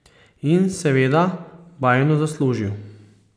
In seveda bajno zaslužil.